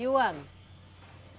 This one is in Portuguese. E o ano?